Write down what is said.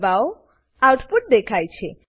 દબાઓ આઉટપુટ દેખાય છે